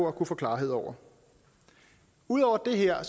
at kunne få klarhed over ud over det her